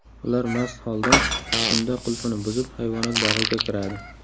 Ular mast holda tunda qulfni buzib, hayvonot bog‘iga kiradi.